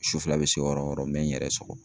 Su fɛla bɛ se o yɔrɔ o yɔrɔ n bɛ n yɛrɛ sɔgɔ.